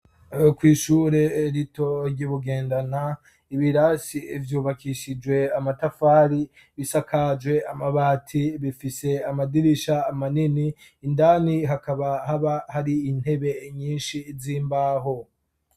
Kw'ishure rito ry'i Bugendana, ibirasi vyubakishijwe amatafari, bisakaje amabati. Bifise amadirisha manini, indani hakaba haba hari intebe nyinshi z'imbaho.